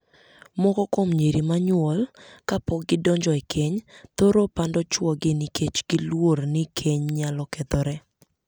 Moko kuom nyiri ma nyuol kapok gidonjo e keny thoro pando chwogi nikech giluor ni keny nyalo kethore.